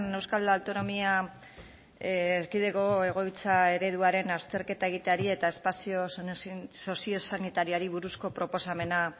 euskal autonomia erkidego egoitza ereduaren azterketa egiteari eta espazio soziosanitarioari buruzko proposamena